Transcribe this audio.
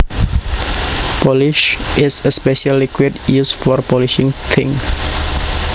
Polish is a special liquid used for polishing things